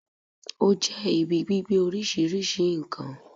Ó jẹ́ ibi gbígbé oríṣìíríṣìí n kan